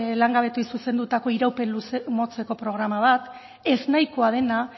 langabetuei zuzendutako iraupen motxeko programa bat eznahikoa dena